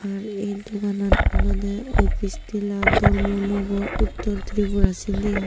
ar eh doganan olode office tila dharmanagar uttor Tripura sindi aai.